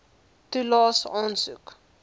toelaes aansoek